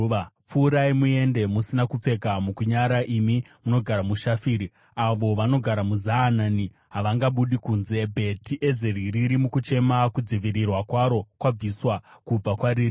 Pfuurai muende musina kupfeka mukunyara, imi munogara muShafiri. Avo vanogara muZaanani havangabudi kunze. Bheti Ezeri riri mukuchema; kudzivirirwa kwaro kwabviswa kubva kwariri.